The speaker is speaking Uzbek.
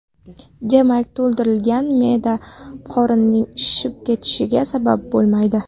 Demak, to‘ldirilgan me’da qorinning shishib ketishiga sabab bo‘lmaydi.